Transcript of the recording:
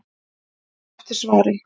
Við bíðum eftir svari.